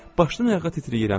Başdan ayağa titrəyirəm.